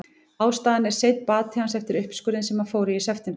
Ástæðan er seinn bati hans eftir uppskurðinn sem hann fór í í september.